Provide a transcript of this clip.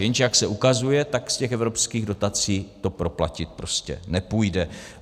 Jenže jak se ukazuje, tak z těch evropských dotací to proplatit prostě nepůjde.